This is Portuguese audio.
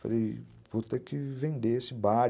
Falei, vou ter que vender esse bar.